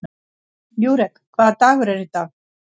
Júrek, hvaða dagur er í dag?